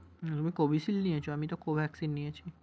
হুম Covishield নিয়েছো? আমি তো Covaxin নিয়েছি।